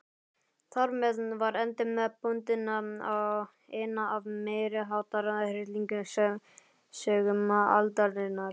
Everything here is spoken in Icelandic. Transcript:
Þarmeð var endi bundinn á eina af meiriháttar hryllingssögum aldarinnar.